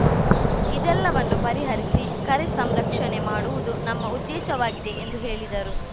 ಇದೆಲ್ಲವನ್ನೂ ಪರಿಹರಿಸಿ ಕರೆ ಸಂರಕ್ಷಣೆ ಮಾಡುವುದು ನಮ್ಮ ಉದ್ದೇಶವಾಗಿದೆ ಎಂದು ಹೇಳಿದರು